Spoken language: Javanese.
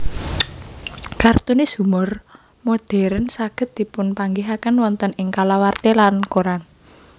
Kartunis humor modern saged dipunpanggihaken wonten ing kalawarti lan koran